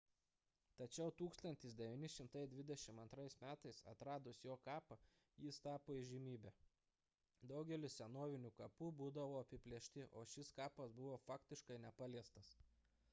tačiau 1922 m atradus jo kapą jis tapo įžymybe daugelis senovinių kapų būdavo apiplėšti o šis kapas buvo faktiškai nepaliestas